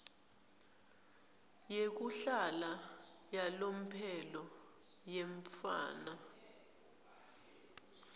yekuhlala yalomphelo yemntfwana